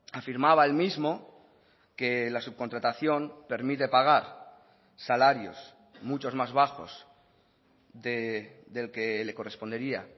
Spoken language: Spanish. afirmaba el mismo que la subcontratación permite pagar salarios muchos más bajos del que le correspondería